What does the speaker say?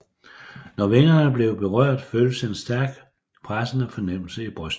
Når vingerne blev berørt føltes en stærk pressende fornemmelse i brystet